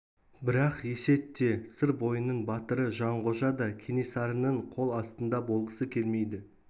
бірақ есет те сыр бойының батыры жанғожа да кенесарының қол астында болғысы келмейді